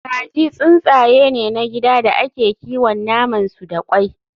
Kaji tsuntsaye ne na gida da ake kiwon naman su da kwai